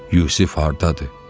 Yusif hardadır?